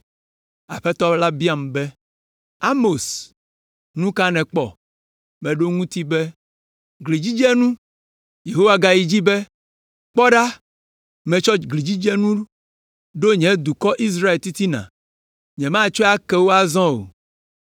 Aƒetɔ la biam be, “Amos, nu ka nèkpɔ?” Meɖo eŋuti be, “Glidzidzenu.” Yehowa gayi dzi be, “Kpɔ ɖa, metsɔ glidzidzenu ɖo nye dukɔ, Israel titina. Nyemagatsɔe ake wo azɔ o.